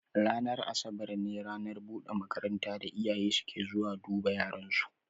Ranar Asabar ne ranar buɗe makaranta da iyaye suke zuwa duba yaran su.